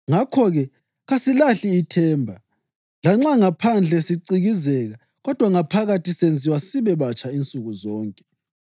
Ngakho-ke, kasililahli ithemba. Lanxa ngaphandle sicikizeka kodwa ngaphakathi senziwa sibe batsha insuku zonke.